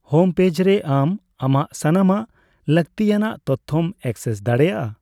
Home page ᱨᱮ ᱟᱢ ᱟᱢᱟᱜ ᱥᱟᱱᱟᱢᱟᱜ ᱞᱟᱹᱠᱛᱤᱭᱟᱱᱟᱜ ᱛᱚᱛᱛᱷᱚᱢ ᱮᱠᱥᱮᱥ ᱫᱟᱲᱮᱭᱟᱜᱼᱟ ᱾